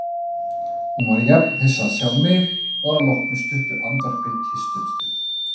Hún var jafn hissa að sjá mig og að loknu stuttu andvarpi kysstumst við.